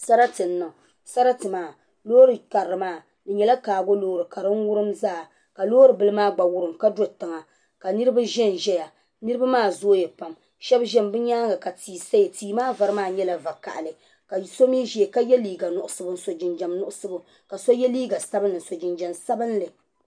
sarati n-niŋ sarati maa loori karili maa di nyɛla kaago loori ka din wurim zaa ka loori bila gba wurim ka do tiŋa ka niriba ʒɛnʒɛya niriba maa zooya pam sbɛba ʒɛmi bɛ nyaaŋa ka tia saya tia maa vari maa nyɛla va' kahili ka so mi ʒiya ka ye liiga nuɣisibu n-so jinjam nuɣisibu ka so ye liiga sabilinli n-so jimjam sabilinli